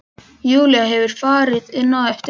Júlía hefur farið inn á eftir mömmu.